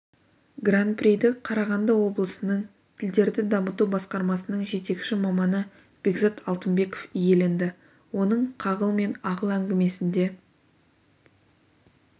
гран-приді қарағанды обысының тілдерді дамыту басқармасының жетекші маманы бекзат алтынбеков иеленді оның қағыл мен ағыл әңгімесінде